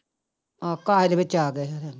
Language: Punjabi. ਆਹੋ ਕਾਸੇ ਦੇ ਵਿੱਚ ਆ ਗਿਆ ਸੀ।